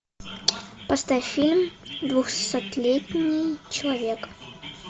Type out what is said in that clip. поставь фильм двухсотлетний человек